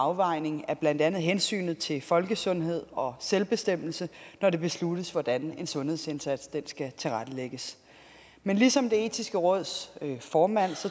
afvejning af blandt andet hensynet til folkesundhed og selvbestemmelse når det besluttes hvordan en sundhedsindsats skal tilrettelægges men ligesom det etiske råds formand